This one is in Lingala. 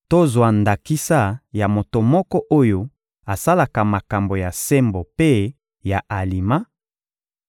Tozwa ndakisa ya moto moko oyo asalaka makambo ya sembo mpe ya alima,